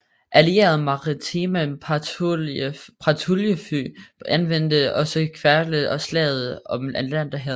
Allierede maritime patruljefly anvendte også Keflavik i Slaget om Atlanterhavet